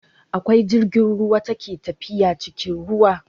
Akwai jirgin ruwa ta ke tafiya cikin ruwa